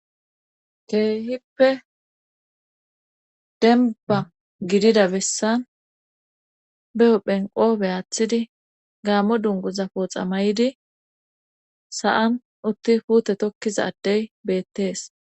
keehippe denba gidida bessan be7o phenqoobe aaththidi gaammo dunguza pooxa may7idi sa7an utti puute tokkizadey beettees